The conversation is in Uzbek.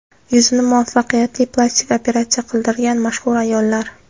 Yuzini muvaffaqiyatli plastik operatsiya qildirgan mashhur ayollar .